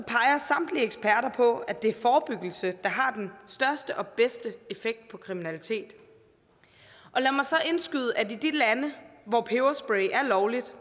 samtlige eksperter på at det er forebyggelse der har den største og bedste effekt på kriminalitet lad mig så indskyde at i de lande hvor peberspray er lovligt